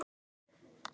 Þannig varstu.